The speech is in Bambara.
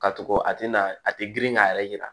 Ka tug'a a tɛ na a tɛ girin k'a yɛrɛ yira